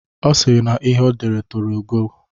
Ọ sịrị na ihe odere toro ogo.